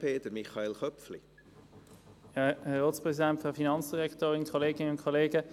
Dem Rahmenkredit 2020–2024 stimmen wir einstimmig zu.